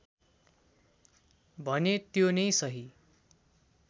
भने त्यो नै सही